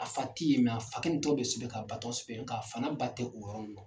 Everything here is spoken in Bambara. A fa tɛ ye a fa tɔgɔ sɛbɛn k'a ba tɔgɔ sɛbɛn nka fa n'a ba tɛ o yɔrɔ ninnu na.